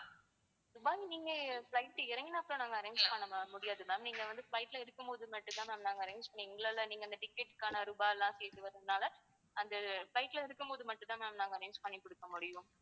துபாயில நீங்க flight இறங்கின அப்புறம் நாங்க arrange பண்ண முடியாது ma'am நீங்க வந்து flight ல இருக்கும் போது மட்டும் தான் ma'am நாங்க arrange எங்கனால நீங்க அந்த ticket க்கான ரூபாய் எல்லாம் சேத்து வர்றதுனால அந்த flight ல இருக்கும் போது தான் ma'am நாங்க arrange பண்ணிகொடுக்க முடியும்.